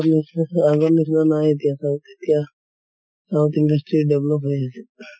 নিছিনা আগৰ নিছিনা নাই এতিয়া south ৰ এতিয়া south industry develop হৈ আছে এতিয়া।